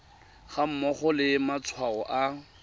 ga mmogo le matshwao a